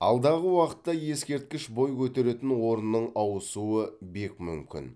алдағы уақытта ескерткіш бой көтеретін орынның ауысуы бек мүмкін